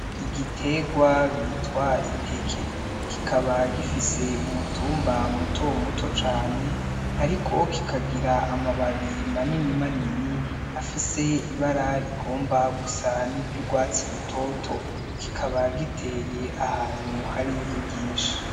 Igiterwa bitwa iteke kikaba gifise umutumba mutomuto cane ariko kikagira amababi manini manini afise ibara rigomba gusa n'iry'urwatsi rutoto kikaba giteye ahantu hari ivu ryinshi.